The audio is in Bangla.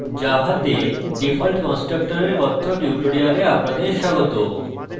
জাভাতে default constructor এর কথ্য tutorial আপনাদের স্বাগত